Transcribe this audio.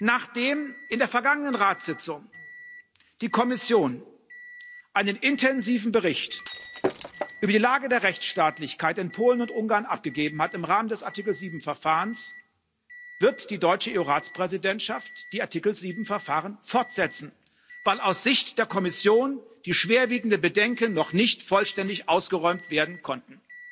Nachdem in der vergangenen Ratssitzung die Kommission einen intensiven Bericht über die Lage der Rechtsstaatlichkeit in Polen und Ungarn abgegeben hat im Rahmen des Artikel 7 Verfahrens, wird die deutsche EU Ratspräsidentschaft die Artikel 7 Verfahren fortsetzen, weil aus Sicht der Kommission die schwerwiegenden Bedenken noch nicht vollständig ausgeräumt werden konnten.